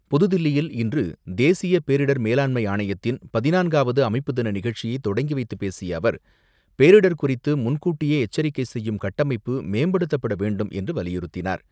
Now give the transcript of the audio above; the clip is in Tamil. புதுதில்லியில் இன்று தேசிய பேரிடர் மேலாண்மை ஆணையத்தின் பதினான்காவது அமைப்பு தின நிகழ்ச்சியை தொடங்கிவைத்து பேசிய அவர், பேரிடர் குறித்து முன்கூட்டியே எச்சரிக்கை செய்யும் கட்டமைப்பு மேம்படுத்தப்பட வேண்டும் என்று வலியுறுத்தினார்.